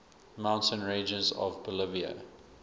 mountain ranges of bolivia